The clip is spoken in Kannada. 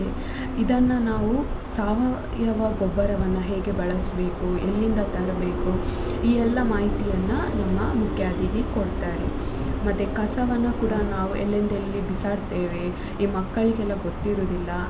ಇದನ್ನ ನಾವು ಸಾವಯವ ಗೊಬ್ಬರವನ್ನ ಹೇಗೆ ಬಳಸ್ಬೇಕು ಎಲ್ಲಿಂದ ತರ್ಬೇಕು ಈ ಎಲ್ಲ ಮಾಹಿತಿಯನ್ನ ನಮ್ಮ ಮುಖ್ಯ ಅತಿಥಿ ಕೊಡ್ತಾರೆ ಮತ್ತೆ ಕಸವನ್ನ ಕೂಡ ನಾವು ಎಲ್ಲೆಂದೆಲ್ಲಿ ಬಿಸಾಡ್ತೇವೆ ಈ ಮಕ್ಕಳಿಗೆಲ್ಲ ಗೊತ್ತಿರುದಿಲ್ಲ.